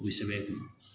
O sɛbɛn kun